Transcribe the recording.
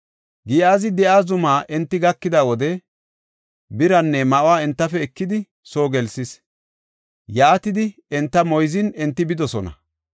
Giyaazi de7iya zuma enti gakida wode, biraanne ma7uwa entafe ekidi, soo gelsis. Yaatidi enta moyzin, enti bidosona.